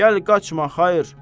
Gəl, qaçma, xeyr!